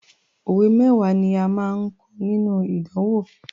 Òwe mẹ́wàá ni a máa kọ nínú ìdánwò.